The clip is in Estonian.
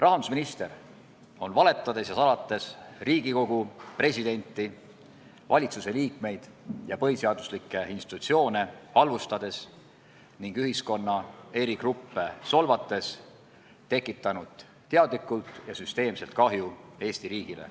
Rahandusminister on valetades, salates ja Riigikogu, presidenti, valitsuse liikmeid ja põhiseaduslikke institutsioone halvustades ning ühiskonna eri gruppe solvates tekitanud teadlikult ja süsteemselt kahju Eesti riigile.